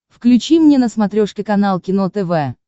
включи мне на смотрешке канал кино тв